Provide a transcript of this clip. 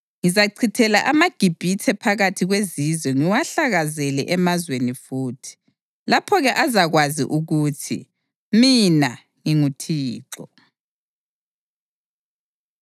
Ngizachithela amaGibhithe phakathi kwezizwe ngiwahlakazele emazweni futhi. Lapho-ke azakwazi ukuthi mina nginguThixo.”